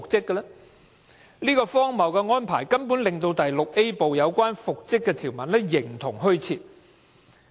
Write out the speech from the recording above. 因為這荒謬的安排，《條例》第 VIA 部中有關復職的條文形同虛設。